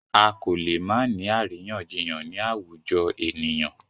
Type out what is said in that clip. A kò lè má ni àríyànjiyàn ni àwùjọ ènìyàn.